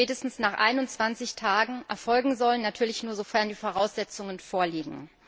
spätestens nach 21 Tagen erfolgen sollen, natürlich nur, sofern die Voraussetzungen vorliegen.